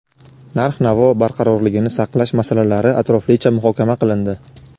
narx-navo barqarorligini saqlash masalalari atroflicha muhokama qilindi.